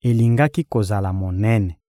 elingaki kozala monene!